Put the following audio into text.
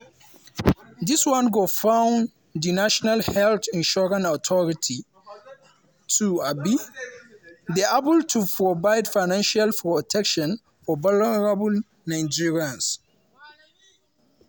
dis one go fund di national health insurance authority to um dey able to provide financial protection for vulnerable nigerians.